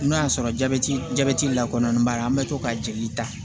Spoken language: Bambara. N'o y'a sɔrɔ jabɛti jabɛti lakɔɔnen b'a la an bɛ to ka jeli ta